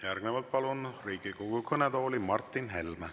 Järgnevalt palun Riigikogu kõnetooli Martin Helme.